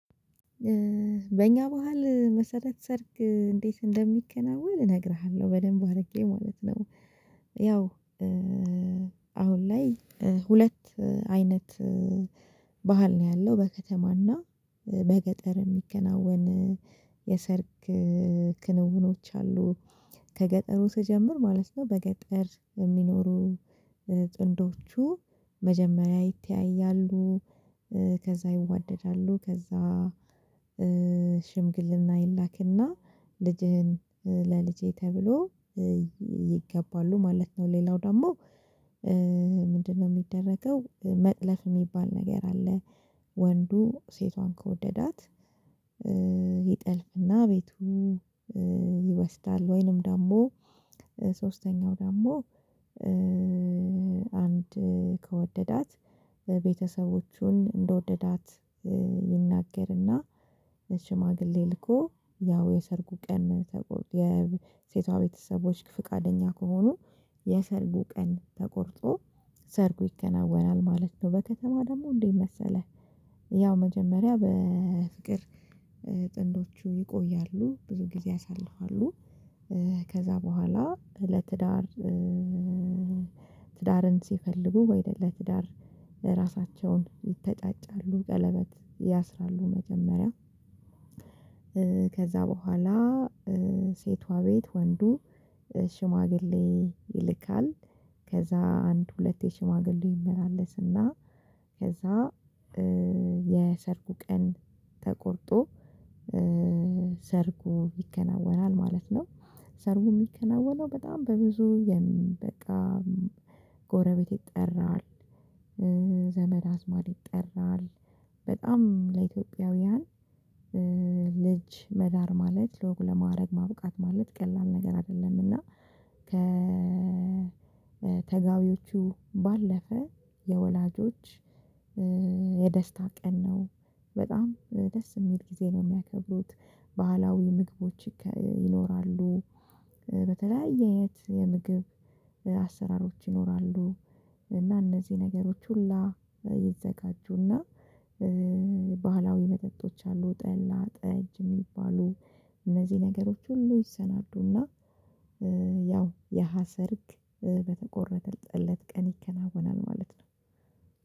በእኛ ባህል መሰረት ሰርግ እንዴት እንደሚከናወን እነግርሃለሁ በደንብ አርጌ ማለት ነው። ያው አሁን ላይ ሁለት አይነት። ባህል ነው ያለው በከተማና በገጠር የሚከናወን የሰርግ ክንውኖች አሉ። ከገጠሩ ስጀምር ማለት ነው። በገጠር የሚኖሩ ጥንዶቹ መጀመሪያ ይተያያሉ። ከዛ ይዋደዳሉ ከዛ ሽምግልና ይላክና ልጅህን ለልጄ ተብሎ ይገባሉ ማለት ነው። ሌላው ደግሞ ምንድነው? ሚደረገው መጥለፍ ሚባል ነገር አለ። ወንዱ ሴቷን ከወደዳት ይጠልፍና ቤቱ ይወስዳል። ወይንም ደግሞ ሶስተኛው ደግሞ። አንድ ከወደዳት ቤተሰቦቹን እንደወደዳት ይናገርና ለሽማግሌ ልኮ ያው የሰርጉ ቀን ተቆጥ የሴቷ ቤተሰቦች ፍቃደኛ ከሆኑ የሰርጉ ቀን ተቆርጦ ሰርጉ ይከናወናል ማለት ነው። በከተማ ደግሞ እንዴት መሰለህ? ያው መጀመሪያ በፍቅር ጥንዶቹ ይቆያሉ ብዙ ጊዜ ያሳልፋሉ። ከዛ በኋላ ለትዳር ትዳርን ሲፈልጉ ወይ ለትዳር ለራሳቸውን ይተጫጫሉ ቀለበት ያስራሉ መጀመሪያ። ከዛ በኋላ ሴቷ ቤት ወንዱ ሽማግሌ ይልካል። ከዛ አንድ ሁለቴ ሽማግሌ ይመላለስና ከዛ የሰርጉ ቀን ተቆርጦ ሰርጉ ይከናወናል ማለት ነው። ሰርጉ ሚከናወነው በጣም በብዙ የሚበቃ ጎረቤት ይጠራል። ዘመድ አዝማድ ይጠራል በጣም ለኢትዮጵያውያን ልጅ መዳር ማለት ለወግ ለማረግ ማብቃት ማለት ቀላል ነገር አይደለም። እና ከ ከተጋቢዎቹ ባለፈ የወላጆች የደስታ ቀን ነው። በጣም ደስ የሚል ጊዜ ነው የሚያከብሩት ባህላዊ ምግቦች ይኖራሉ። በተለያየ የምግብ አሰራሮች ይኖራሉ። እና እነዚህ ነገሮች ሁላ ይዘጋጁና። ባህላዊ መጠጦች አሉ ጠላ ጠጅ የሚባሉ እነዚህ ነገሮች ሁሉ ይሰናዱና። ያው ያሀሰርግ በተቆረጠለት ቀን ይከናወናል ማለት ነው።